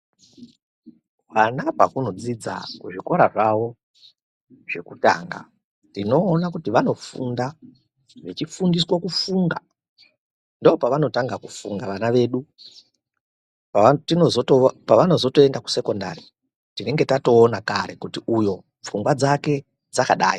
Hwana pazvinodzidza kuzvikora zvawo zvekutanga tinoona kuti vanofunda vechifundiswa kufunga ndopavanotanga kufunga vana vedu pavanozoenda kusekondari tinenge tataona kuti uyo pfungwaa dzake dzakadai.